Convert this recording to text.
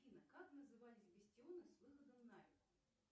афина как назывались бастионы с выходом на реку